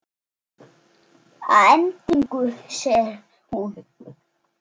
Að endingu segir hún